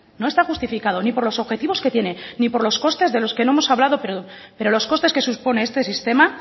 no está justificado ni por los objetivos que tiene ni por los costes de los que no hemos hablado pero los costes que supone este sistema